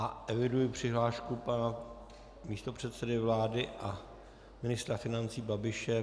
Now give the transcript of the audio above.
A eviduji přihlášku pana místopředsedy vlády a ministra financí Babiše.